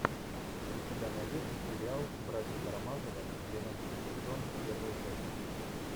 у тебя найдется сериал братья карамазовы двенадцатый сезон первая часть